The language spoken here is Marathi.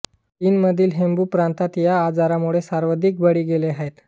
चीनमधील हूबै प्रांतात या आजारामुळे सर्वाधिक बळी गेले आहेत